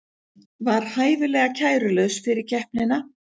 Var hæfilega kærulaus fyrir keppnina